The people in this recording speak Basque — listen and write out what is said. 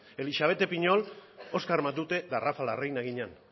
elixabete piñol oskar matute eta rafa larreina ginen